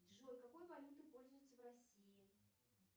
джой какой валютой пользуются в россии